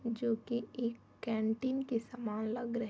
जोकि एक कैंटीन के समान लग रहे --